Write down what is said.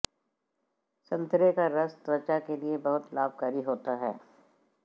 संतरे का रस त्वंचा के लिए बहुत लाभकारी होता है